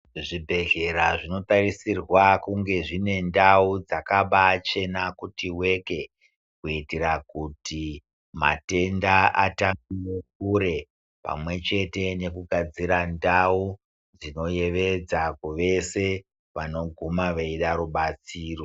Zvibhedhlera zvinotarisirwa kunge zvine ndau dzakabachena kuti weke. Kuitira kuti matenda atambire kure pamwe chete nekugadzira ndau dzinoyevedza kuwese wanoguma weide rubatsiro.